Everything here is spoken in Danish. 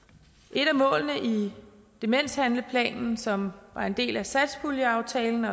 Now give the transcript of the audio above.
et af målene i demenshandlingsplanen som var en del af satspuljeaftalen